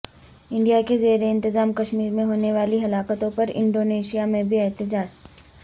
India کے زیر انتظام کشمیر میں ہونے والی ہلاکتوں پر انڈونیشا میں بھی احتجاج